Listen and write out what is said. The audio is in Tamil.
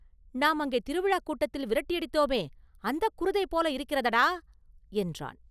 நாம் அங்கே திருவிழாக் கூட்டத்தில் விரட்டியடித்தோமே, அந்தக் குருதை போல இருக்கிறதடா!” என்றான்.